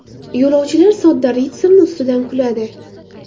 Yo‘lovchilar sodda ritsarni ustidan kuladi.